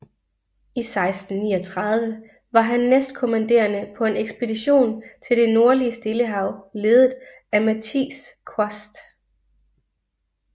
I 1639 var han næstkommanderende på en ekspedition til det nordlige Stillehav ledet af Matthijs Quast